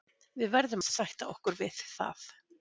Við verðum að sætta okkur við það.